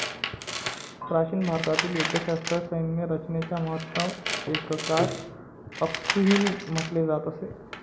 प्राचीन भारतातील युद्धशास्त्रात, सैन्य रचनेच्या महत्तम एककास 'अक्सुहिनी ' म्हटले जात असे.